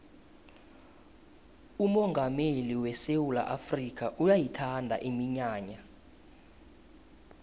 umongameli wesewula afrikha uyayithanda iminyanya